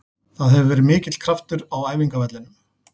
Það hefur verið mikill kraftur á æfingavellinum.